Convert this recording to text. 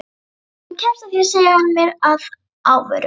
Þú kemst að því sagði hann mér að óvörum.